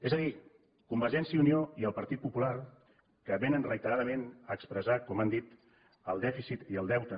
és a dir convergència i unió i el partit popular que vénen reiteradament a expressar com han dit el dèficit i el deute